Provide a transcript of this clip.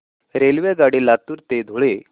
रेल्वेगाडी लातूर ते धुळे